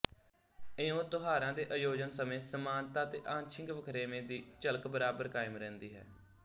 ਇਉਂ ਤਿਉਹਾਰਾਂ ਦੇ ਆਯੋਜਨ ਸਮੇਂ ਸਮਾਨਤਾ ਤੇ ਆਂਸ਼ਿਕ ਵਖਰੇਵੇਂ ਦੀ ਝਲਕ ਬਰਾਬਰ ਕਾਇਮ ਰਹਿੰਦੀ ਹੈ